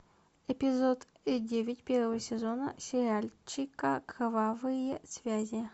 эпизод девять первого сезона сериальчика кровавые связи